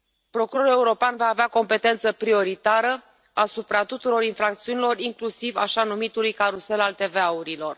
Procurorul european va avea competență prioritară asupra tuturor infracțiunilor, inclusiv asupra așa numitului carusel al TVA urilor.